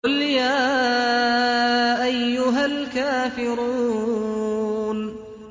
قُلْ يَا أَيُّهَا الْكَافِرُونَ